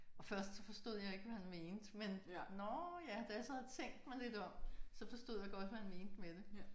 Og først så forstod jeg ikke hvad han mente men nåh ja da jeg så havde tænkt mig lidt om så forstod jeg godt hvad han mente med det